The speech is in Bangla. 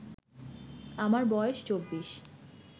আমার বয়স 24